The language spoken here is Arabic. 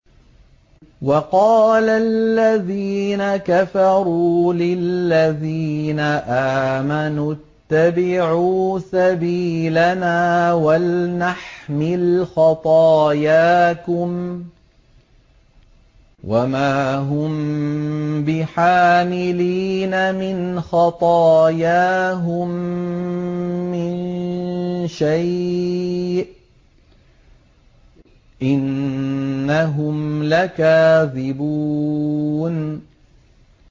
وَقَالَ الَّذِينَ كَفَرُوا لِلَّذِينَ آمَنُوا اتَّبِعُوا سَبِيلَنَا وَلْنَحْمِلْ خَطَايَاكُمْ وَمَا هُم بِحَامِلِينَ مِنْ خَطَايَاهُم مِّن شَيْءٍ ۖ إِنَّهُمْ لَكَاذِبُونَ